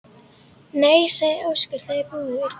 Nei, sagði Óskar, það er búið.